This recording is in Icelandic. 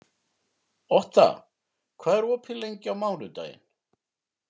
Otta, hvað er opið lengi á mánudaginn?